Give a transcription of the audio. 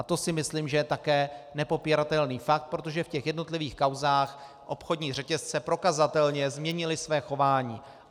A to si myslím, že je také nepopiratelný fakt, protože v těch jednotlivých kauzách obchodní řetězce prokazatelně změnily své chování.